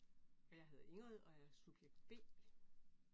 Og jeg hedder Ingrid og er subjekt B